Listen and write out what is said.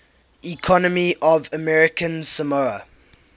economy of american samoa